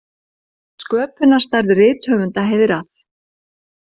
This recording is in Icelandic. Sköpunarstarf rithöfunda heiðrað